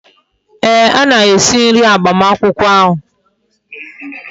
Ee, ha na-esi nri agbamakwukwo ahu